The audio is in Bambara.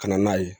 Ka na n'a ye